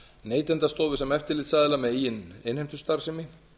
neytendastofu sem eftirlitsaðila með eigin innheimtustarfsemi